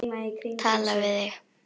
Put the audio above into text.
Tala við þig.